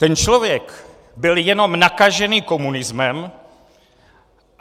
Ten člověk byl jenom nakažený komunismem.